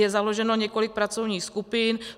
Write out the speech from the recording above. Je založeno několik pracovních skupin.